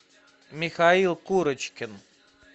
михаил курочкин